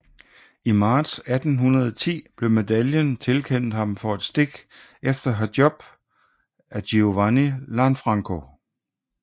I marts 1810 blev medaljen tilkendt ham for et stik efter Hjob af Giovanni Lanfranco